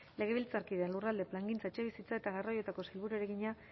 legebiltzarkideak lurralde plangintza etxebizitza eta garraioetako sailburuari egina